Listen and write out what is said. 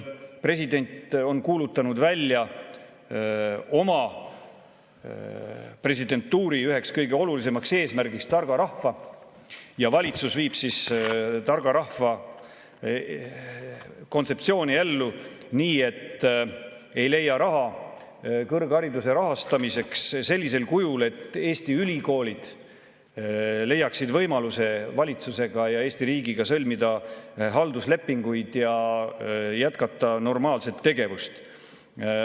President on kuulutanud oma presidentuuri üheks kõige olulisemaks eesmärgiks targa rahva ja valitsus viib siis targa rahva kontseptsiooni ellu nii, et ei leia raha kõrghariduse rahastamiseks sellisel kujul, et Eesti ülikoolid leiaksid võimaluse valitsuse ja Eesti riigiga sõlmida halduslepinguid ja jätkata normaalset tegevust.